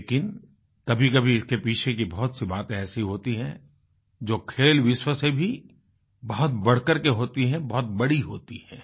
लेकिन कभीकभी इसके पीछे की बहुतसी बातें ऐसी होती हैं जो खेलविश्व से भी बहुत बढ़ करके होती है बहुत बड़ी होती है